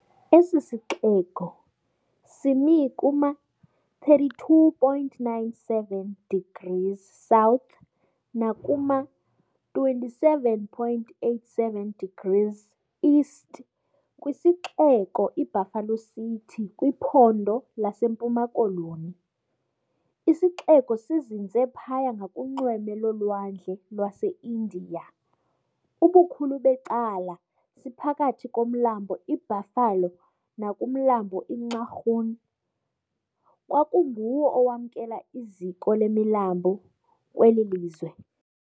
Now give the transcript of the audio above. Esi sixeko simi kuma-32.97 degrees South nakuma-27.87 degrees East kwisixeko iBuffalo City kwiPhondo laseMpuma Koloni. Isixeko sizinze phaya ngakunxweme lolwandle lwaseIndiya, ubukhulu becacala siphakathi komlambo iBuffalo nakumlambo iNxarhun, kwangunguwo owamkela iziko lemilambo kweli lizwe.